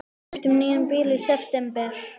Við keyptum nýjan bíl í september.